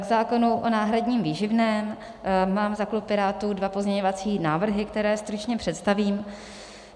K zákonu o náhradním výživném mám za klub Pirátů dva pozměňovací návrhy, které stručně představím.